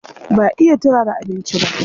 Ba iya turara abinci ba.